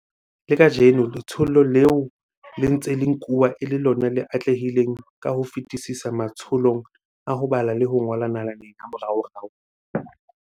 Le kajeno letsholo leo le ntse le nkuwa e le lona le atlehileng ka ho fetisisa matsholong a ho bala le ho ngola nalaneng ya moraorao.